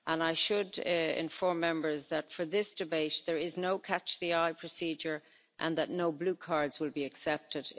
I should inform Members that for this debate there is no catch the eye procedure and no blue cards will be accepted.